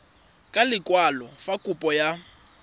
ka lekwalo fa kopo ya